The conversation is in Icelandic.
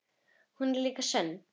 Hún er líka sönn.